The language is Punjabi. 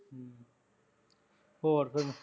ਹੋਰ ਫੇਰ